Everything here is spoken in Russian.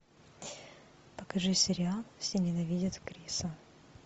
покажи сериал все ненавидят криса